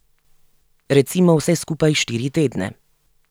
Recimo vse skupaj štiri tedne.